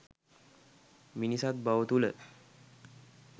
මිනිසත්බව තුළ